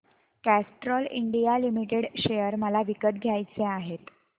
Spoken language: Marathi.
कॅस्ट्रॉल इंडिया लिमिटेड शेअर मला विकत घ्यायचे आहेत